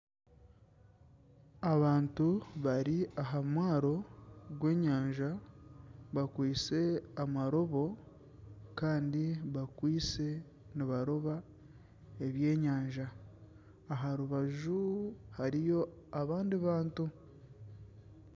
Abantu bari aha mwaaro gw'enyanja bakwise amarobo kandi bakwise nibaroba ebyenyanja. Aharubaju hariyo abandi bantu.